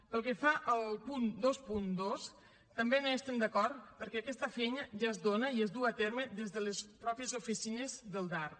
pel que fa al punt vint dos tampoc no hi estem d’acord perquè aquesta feina ja es dóna i es du a terme des de les mateixes oficines del darp